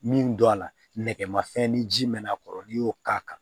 Min don a la nɛgɛmafɛn ni ji mɛn'a kɔrɔ n'i y'o k'a kan